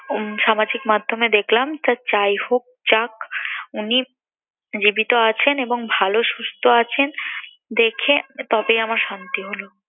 উম সামাজিক মাধ্যমে দেখলাম তা যাইহোক যাক উনি জীবিত আছেন এবং ভালো, সুস্থ আছেন, দেখে তবেই আমার শান্তি হল।